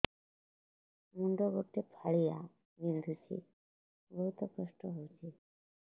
ମୁଣ୍ଡ ଗୋଟେ ଫାଳିଆ ବିନ୍ଧୁଚି ବହୁତ କଷ୍ଟ ହଉଚି